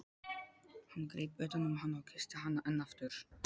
Hann greip utan um hana og kyssti hana enn aftur.